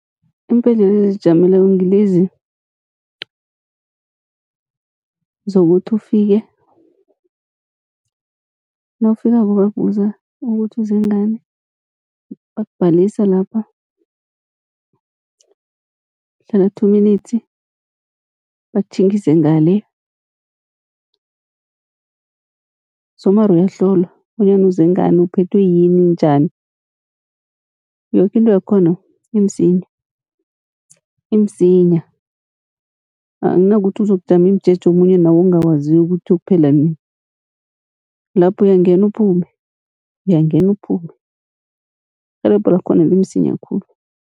Iimbhedlela ezizijameleko ngilezi zokuthi ufike, nawufikako bayakubuza ukuthi uze ngani bakubhalisa lapha. Uhlala two minutes bakutjhingise ngale somar uyahlolwa bonyana uze ngani, uphethwe yini, njani, yoke into yakhona imsinya, imsinya. Akunakuthi uzokujama imijeje omunye nawe ongawaziko kuthi uyokuphela nini. Lapha uyangena uphume, uyagena uphume irhelebho lakhona limsinya khulu.